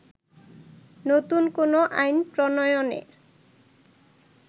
নতুন কোন আইন প্রণয়নের